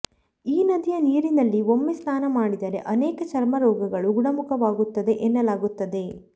ಈ ನದಿಯ ನೀರಿನಲ್ಲಿ ಒಮ್ಮೆ ಸ್ನಾನ ಮಾಡಿದರೆ ಅನೇಕ ಚರ್ಮ ರೋಗಗಳು ಗುಣಮುಖವಾಗುತ್ತದೆ ಎನ್ನಲಾಗುತ್ತದೆ